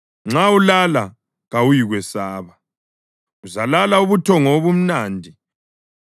nxa ulala kawuyikwesaba; uzalala ubuthongo obumnandi.